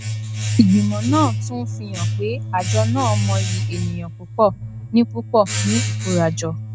ìgbìmọ náà tún ń fi hàn pé àjọ náà mọyì ènìyàn púpọ ní púpọ ní ikórajọ